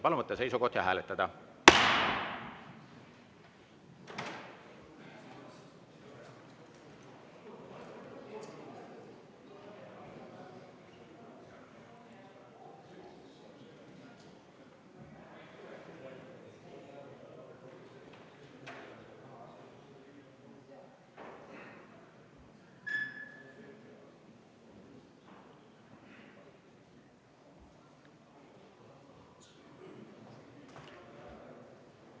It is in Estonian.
Palun võtta seisukoht ja hääletada!